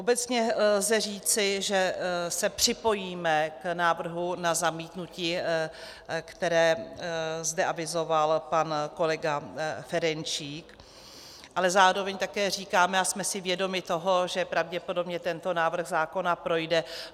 Obecně lze říci, že se připojíme k návrhu na zamítnutí, které zde avizoval pan kolega Ferjenčík, ale zároveň také říkáme a jsme si vědomi toho, že pravděpodobně tento návrh zákona projde.